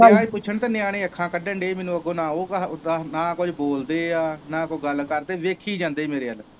ਗਇਆ ਹੀ ਪੁੱਛਣ ਤੇ ਨਿਆਣੇ ਅੱਖਾਂ ਕੱਢਣ ਦੇ ਮਿੰਨੂ ਅੱਗੋ ਨਾ ਉਹ ਨਾ ਕੁੱਝ ਬੋਲਦੇ ਆ ਨਾ ਕੋਈ ਗੱਲ ਕਰਦੇ ਵੇਖੀ ਜਾਂਦੇ ਮੇਰੇ ਵੱਲ।